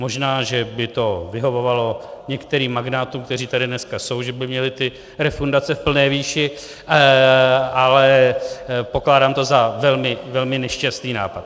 Možná že by to vyhovovalo některým magnátům, kteří tady dneska jsou, že by měli ty refundace v plné výši, ale pokládám to za velmi, velmi nešťastný nápad.